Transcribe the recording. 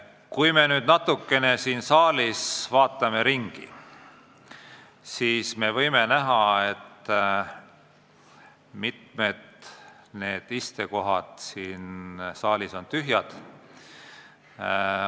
Kui me nüüd siin saalis natukene ringi vaatame, siis võime näha, et mitmed istekohad on tühjad.